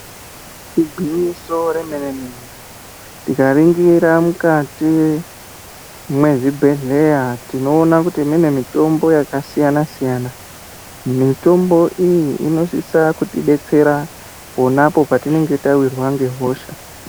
Igwinyiso remene-mene tikaringira mukati mwezvibhedhleya, tinoona kuti mune mitombo yakasiyana-siyana, mitombo iyi inosisa kutibetsera ponapo petinonga tawirwa ngehosha.